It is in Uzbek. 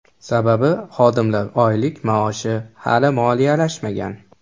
Sababi xodimlar oylik-maoshi hali moliyalashmagan.